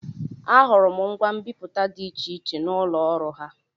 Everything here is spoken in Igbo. Ahụrụ m ngwa mbipụta dị iche iche n'ụlọ ọrụ ha.